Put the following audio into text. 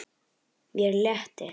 Mér létti.